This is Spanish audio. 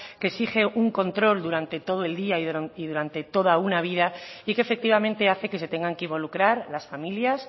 que exige un control durante todo el día y durante toda una vida y que efectivamente hace que se tengan que involucrar las familias